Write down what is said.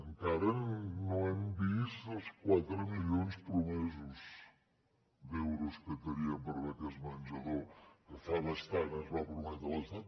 encara no hem vist els quatre milions promesos d’euros que teníem per beques menjador que fa bastant ens va prometre l’estat